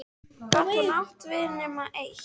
Gat hún átt við nema eitt?